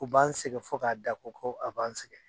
U b'an sɛgɛn fo k'a da ko ko a b'an sɛgɛn.